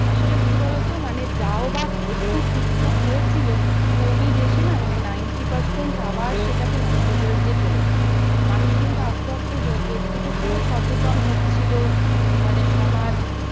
আসলে কি বলো তো? মানে যাও বা একটু ঠিকঠাক হয়ে ছিল, covid এসে না? ninty percent আবার সেটা কে নষ্ট করে দিয়ে চলে গেল। মানুষ কিন্তু আসতে আসতে য~ যতটুকুও সচেতন হচ্ছিলো, মানে সমাজ